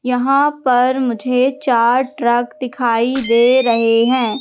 यहां पर मुझे चार ट्रक दिखाई दे रहे हैं।